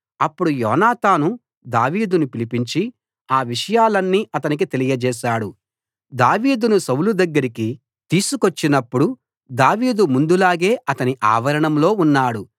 అప్పుడు యోనాతాను దావీదును పిలిపించి ఆ విషయాలన్నీ అతనికి తెలియచేశాడు దావీదును సౌలు దగ్గరికి తీసుకొచ్చినపుడు దావీదు ముందులాగే అతని ఆవరణంలో ఉన్నాడు